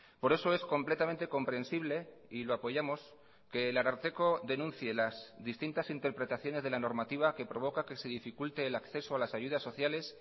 por eso es completamente comprensible y lo apoyamos que el ararteko denuncie las distintas interpretaciones de la normativa que provoca que se dificulte el acceso a las ayudas sociales